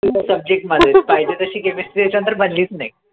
फक्त subject मधेच पाहिजे तशी chemistry याच्या नंतर बनलीच नाई